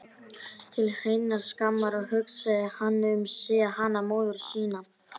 Til hreinnar skammar, og hugsaði hann um þig, hana móður sína?